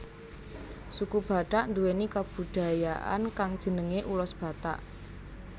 Suku Batak nduwèni kabudayaan kang jenengé ulos Batak